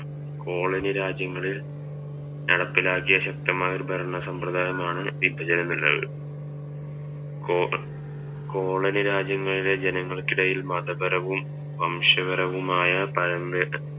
colony രാജ്യങ്ങളിൽ നടപ്പിലാക്കിയ ശക്തമായ ഒരു ഭരണ സംഭ്രതായമാണ് വിഭചന കോ കോളനി രാജ്യങ്ങളിലെ ജനങ്ങൾക്ക് ഇടയിൽ മതപരവും വംശപരവുമായ തയമ്പേത്